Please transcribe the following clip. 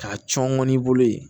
K'a cɔn ŋɔni bolo ye